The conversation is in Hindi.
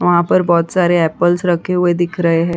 वहाँ पर बहोत सारे एपल्स रखे हुए दिख रहे हैं।